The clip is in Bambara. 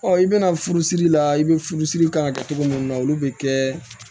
i bɛna furusiri la i be furusiri kan kɛ togo mun na olu be kɛ